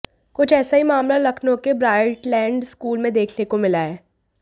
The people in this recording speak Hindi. कुछ ऐसा ही मामला लखनऊ के ब्राइटलैंड स्कूल में देखने को मिला है